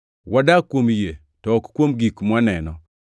Wadak kuom yie to ok kuom gik mwaneno.